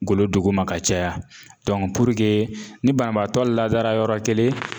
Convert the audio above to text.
golo duguma ka caya ni banabaatɔ ladara yɔrɔ kelen